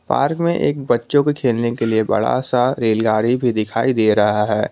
Park में एक बच्चों को खेलने के लिए बड़ा सा रेलगाड़ी भी दिखाई दे रहा है।